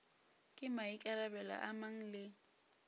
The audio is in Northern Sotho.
ke maikarabelo a mang le